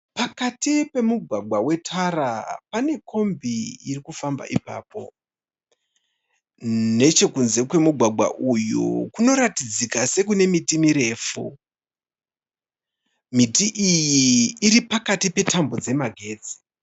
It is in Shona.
Pakati pemugwagwa wetara pane kombi iri kufamba ipapo. Nechekunze kwemugwgwa uyu kunoratidzika sekune miti mirefu. Miti iyi iri pakati petambo dzemagetsi.